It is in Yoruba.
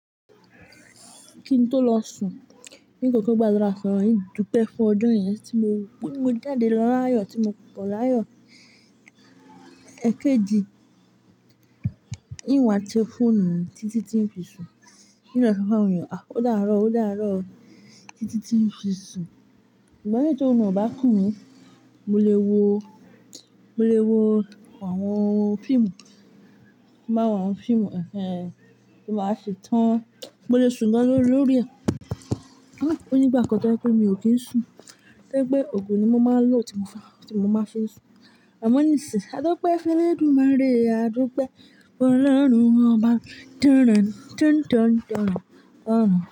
Kí n tó lọ sùn, n kòko gbàdúrà sọ̀loun hin dúpẹ́ fún ọjo yẹn tí mo, ti mo jáde lọ láyọ̀ tí mo bọ̀ láyọ̀. Èkejì, in waà te fóònù Títí ti ń fi sùn, in lo so fún àwọn ènìyàn, "à o dáàárọ̀, o dáàárọ̀ Títí ti ń fi sùn." Ìgbami tórun ọ̀ bá kùn mí, mo lè wo, mo lè wo àwọn fíìmù, ti n bá wọn fíìmù ẹ́hẹ́n tí baà á setán. Mo lè sùn gan-an lórí rẹ̀. Ó ní ìgbà kan tẹ́kún mi ò kí ń sùn, tóri pe ògùn ni mo máa ń lò tí mo, tí mo máa fi sùn. Amọ nísin, adúpẹ́ fẹ́lẹ́ dúmaré, adúpẹ́ olóòórùn ọba.